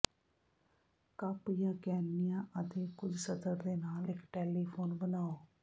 cup ਜਾਂ ਕੈਨਿਆਂ ਅਤੇ ਕੁਝ ਸਤਰ ਦੇ ਨਾਲ ਇੱਕ ਟੈਲੀਫੋਨ ਬਣਾਓ